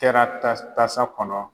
Kɛra tasa kɔnɔ